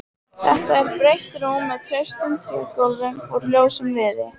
Þetta er breitt rúm með traustum trégöflum úr ljósum viði.